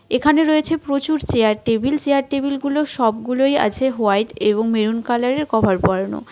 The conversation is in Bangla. এখানে রয়েছে প্রচুর চেয়ার টেবিল চেয়ার টেবিলগুলো সবগুলোই আছে হোয়াইট এবং মেরুন কালারের কভার পড়ানো .